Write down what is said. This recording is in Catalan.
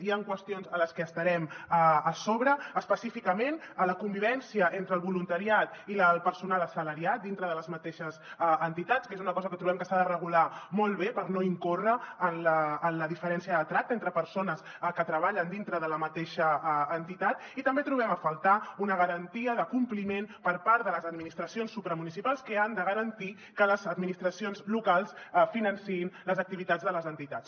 hi han qüestions en les que hi estarem a sobre específicament la convivència entre el voluntariat i el personal assalariat dintre de les mateixes entitats que és una cosa que trobem que s’ha de regular molt bé per no incórrer en la diferència de tracte entre persones que treballen dintre de la mateixa entitat i també trobem a faltar una garantia de compliment per part de les administracions supramunicipals que han de garantir que les administracions locals financin les activitats de les entitats